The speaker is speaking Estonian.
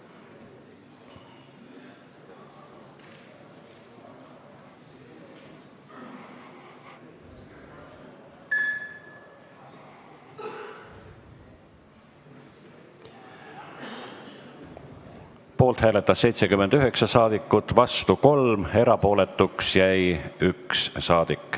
Hääletustulemused Poolt hääletas 79 rahvasaadikut, vastu 3, erapooletuks jäi 1.